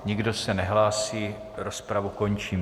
Nikdo se nehlásí, rozpravu končím.